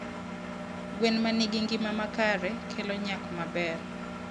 gwen ma nigi ngima makare kelo nyak maber.